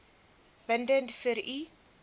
bindend vir u